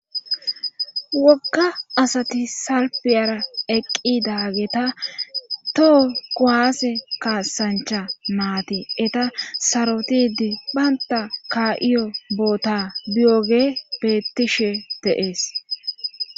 wokka asati salpiyara eqqidageeta toho kowaase kaasancha maati eta sarotidi baynta ka7iyo boota biyoge bettishe deees